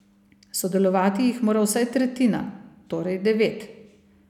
Sodelovati jih mora vsaj tretjina, torej devet.